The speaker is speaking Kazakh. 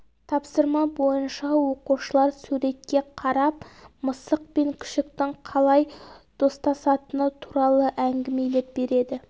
тапсырма бойынша оқушылар суретке қарап мысық пен күшіктің қалай достасатыны туралы әңгімелеп береді